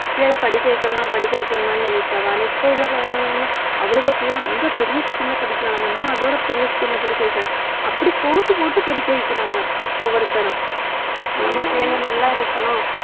பிள்ளைங்களை படிக்க வைக்கணுமா படிக்க வைக்கணுமான்னு நினைப்பாக இப்ப உள்ள அவளுக புள்ள அந்த பெரிய school ல படிக்கிறாளா நம்ம அதோட பெரிய school ல படிக்க வைக்கணும். அப்படி போட்டி போட்டு படிக்க வைக்கிறாங்க ஒவ்வொருத்தரும் நம்ம பிள்ளைங்க நல்லா இருக்கணும்